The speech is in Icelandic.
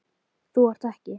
Þú ert ekki.